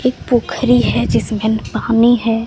एक पोखरी है जिसमें पानी है।